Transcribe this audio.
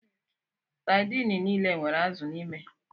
Sadini niile nwere azụ n'ime.